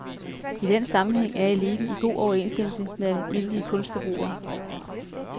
I den sammenhæng er eliten i god overensstemmelse med almindelige kunstforbrugere.